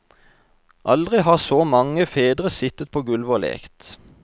Aldri har så mange fedre sittet på gulvet og lekt.